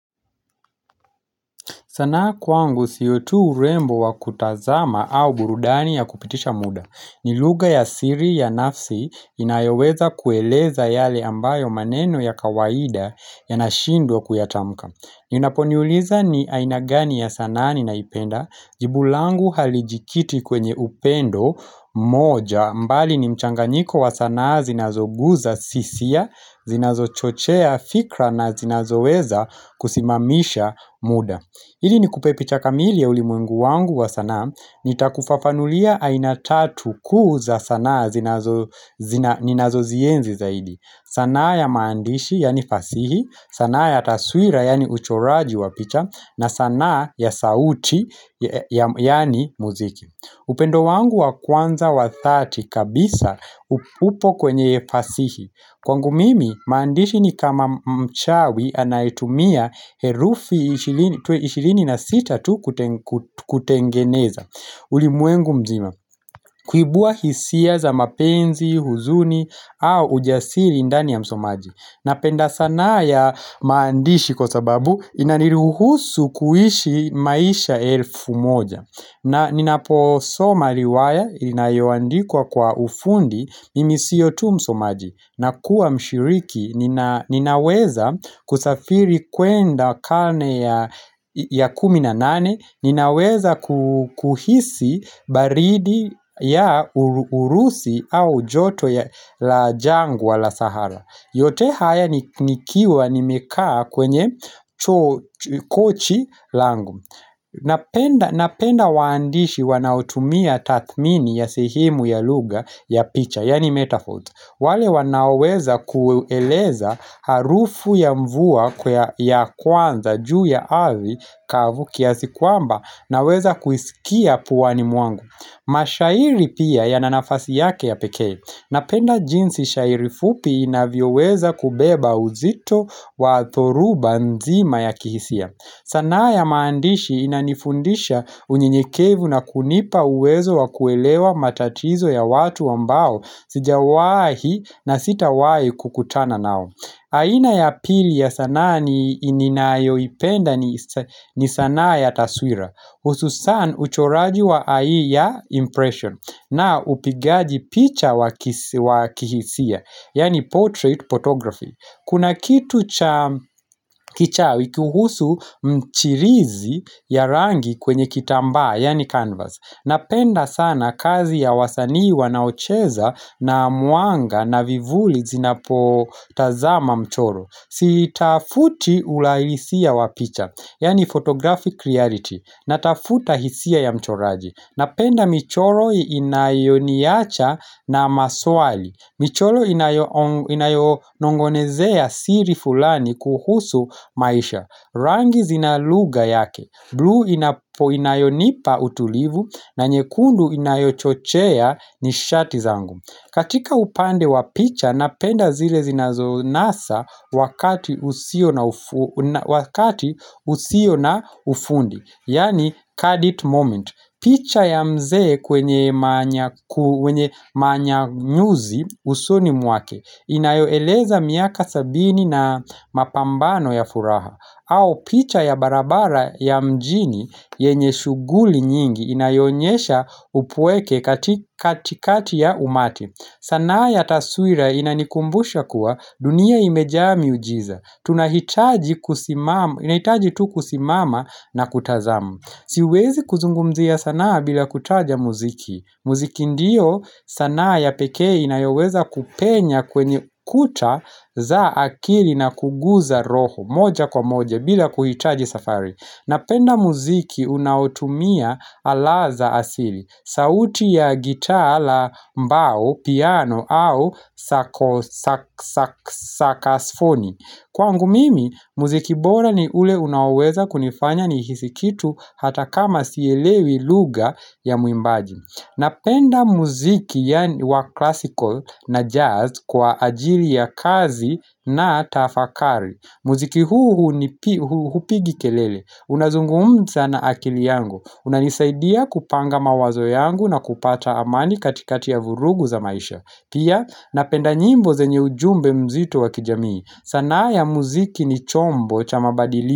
Sanaa kwangu sio tu urembo wa kutazama au burudani ya kupitisha muda. Ni lugha ya siri ya nafsi inayoweza kueleza yale ambayo maneno ya kawaida yanashindwa kuyatamka. Inaponiuliza ni aina gani ya sanaa ninaipenda. Jibu langu halijikiti kwenye upendo moja mbali ni mchanganyiko wa sanaa zinazoguza sisia, zinazochochea fikra na zinazoweza kusimamisha muda. Ili nikupe picha kamili ya ulimwengu wangu wa sanaa, nitakufafanulia aina tatu kuu za sanaa ninazozienzi zaidi. Sanaa ya maandishi, yaani fasihi, sanaa ya taswira, yaani uchoraji wa picha, na sanaa ya sauti, yaani muziki. Upendo wangu wa kwanza wa dhati kabisa upo kwenye fasihi. Kwangu mimi, maandishi ni kama mchawi anayetumia herufi ishirini na sita tu kutengeneza. Ulimwengu mzima, kuibua hisia za mapenzi, huzuni, au ujasiri ndani ya msomaji. Napenda sanaa ya maandishi kwa sababu inaniruhusu kuishi maisha elfu moja. Na ninaposoma riwaya, inayoandikwa kwa ufundi, mimi sio tu msomaji, nakuwa mshiriki, ninaweza kusafiri kwenda karne ya ya kumi na nane, ninaweza kuhisi baridi ya urusi au joto la jangwa la sahara. Yote haya nikiwa nimekaa kwenye kochi langu napenda, Napenda waandishi wanaotumia tathmini ya sehemu ya lugha ya picha Yaani metaphoes wale wanaoweza kueleza harufu ya mvua ya kwanza juu ya ardhi kavu kiasi kwamba naweza kuisikia puani mwangu mashairi pia yana nafasi yake ya pekee Napenda jinsi shairi fupi inavyoweza kubeba uzito wa dhoruba nzima ya kihisia. Sanaa ya maandishi inanifundisha unyenyekevu na kunipa uwezo wa kuelewa matatizo ya watu ambao sijawahi na sitawahi kukutana nao. Aina ya pili ya sanaa ninayoipenda ni sanaa ya taswira. Hususan uchoraji wa ai ya impression na upigaji picha wa kihisia, yaani portrait photography. Kuna kitu cha kichawi kuhusu mchirizi ya rangi kwenye kitambaa, yaani canvas. Napenda sana kazi ya wasanii wanaocheza na mwanga na vivuli zinapotazama mchoro. Sitafuti uhalisia wa picha, yaani photographic reality, natafuta hisia ya mchoraji Napenda michoro inayoniacha na maswali, michoro inayo inayonong'onezea siri fulani kuhusu maisha Rangi zina lugha yake, bluu inayonipa utulivu na nyekundu inayochochea nishati zangu katika upande wa picha napenda zile zinazonasa wakati usio wakati usio na ufundi Yaani kadit moment picha ya mzee kwenye manyanyuzi usoni mwake Inayoeleza miaka sabini na mapambano ya furaha au picha ya barabara ya mjini yenye shughuli nyingi inayoonyesha upweke katikati ya umati. Sanaa ya taswira inanikumbusha kuwa dunia imejaa miujiza. Tunahitaji tu kusimama na kutazama. Siwezi kuzungumzia sanaa bila kutaja muziki. Muziki ndiyo sanaa ya pekee inayoweza kupenya kwenye kuta za akili na kuguza roho moja kwa moja bila kuhitaji safari. Napenda muziki unaotumia ala za asili. Sauti ya gitaa la mbao, piano au sakasfoni. Kwangu mimi, mziki bora ni ule unaoweza kunifanya nihisi kitu hata kama sielewi lugha ya muimbaji. Napenda mziki yaani wa classical na jazz kwa ajili ya kazi na tafakari. Mziki huu hupigi kelele. Unazungumza na akili yangu. Unanisaidia kupanga mawazo yangu na kupata amani katikati ya vurugu za maisha. Pia napenda nyimbo zenye ujumbe mzito wa kijamii. Sanaa ya mziki ni chombo cha mabadili.